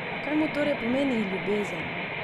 Kaj mu torej pomeni ljubezen?